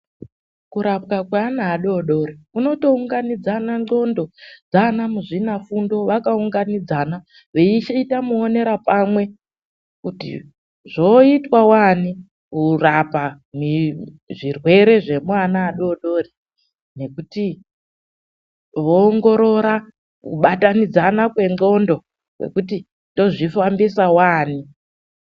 Kurapwa kwaana adodori kunotounganidzana ndhlondo dzaana muzvinafundo, vakaunganidzana veyichiita muwonera pamwe kuti zvoitwa wani kurapa kwezvirwere zvekuwanaadodori kuti kuongorora kubatanidzana kwendhlondo kuti tozvifambisa waani